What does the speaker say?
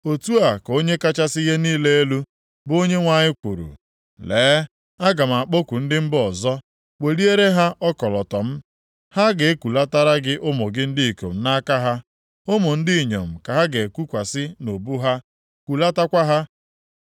Otu a ka Onye kachasị ihe niile elu, bụ Onyenwe anyị kwuru, “Lee, aga m akpọku ndị mba ọzọ, weliere ha ọkọlọtọ m, ha ga-ekulatara gị ụmụ gị ndị ikom nʼaka ha. Ụmụ ndị inyom ka ha ga-ekukwasị nʼubu ha kulatakwa ha.